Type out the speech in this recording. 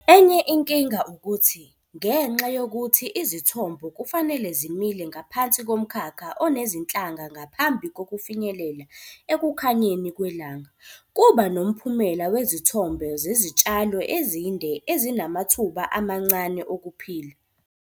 Enye inkinga ukuthi, ngenxa yokuthi izithombo kufanele zimile ngaphansi komkhakha onezinhlanga ngaphambi kokufinyelela ekukhanyeni kwelanga, kuba nomphumela wezithombo zezitshalo ezinde ezinamathuba amancane okuphila.